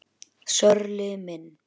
Sörli minn!